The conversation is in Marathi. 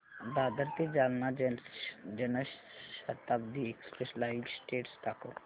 दादर ते Jalna Janshatabdi express live status दाखव